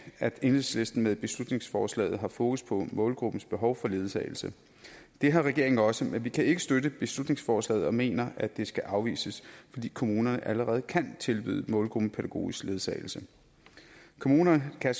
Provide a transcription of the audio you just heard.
at enhedslisten med beslutningsforslaget har fokus på målgruppens behov for ledsagelse det har regeringen også men vi kan ikke støtte beslutningsforslaget og mener at det skal afvises fordi kommunerne allerede kan tilbyde målgruppen pædagogisk ledsagelse kommunerne kan